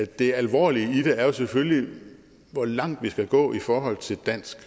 det alvorlige i det er jo selvfølgelig hvor langt vi skal gå i forhold til dansk